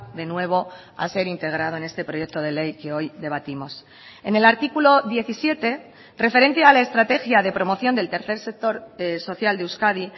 de nuevo a ser integrado en este proyecto de ley que hoy debatimos en el artículo diecisiete referente a la estrategia de promoción del tercer sector social de euskadi